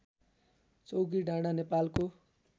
चौकीडाँडा नेपालको